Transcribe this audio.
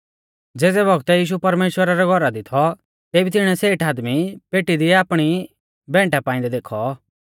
ज़ेज़ै बौगतै यीशु परमेश्‍वरा रै घौरा दी थौ तेबी तिणीऐ सेठ आदमी पेटी दी आपणी भैंटा पाइंदै देखौ